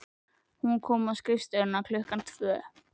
Hún kom á skrifstofuna klukkan tvö.